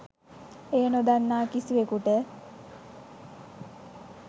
එය නොදන්නා කිසිවෙකුට